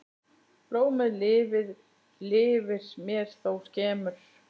Blómið lifir mér þó skemur.